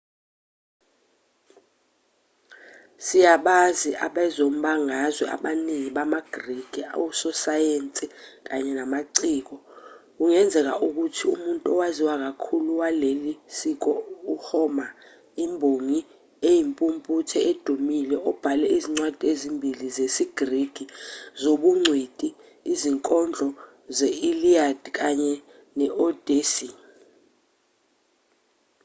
siyabazi abezombangazwe abaningi bamagriki ososayensi kanye namaciko kungenzeka ukuthi umuntu owaziwa kakhulu waleli siko u-homer imbongi eyimpumputhe edumile obhale izincwadi ezimbili zesigriki zobungcweti izinkondo ze-iliad kanye ne-odyssey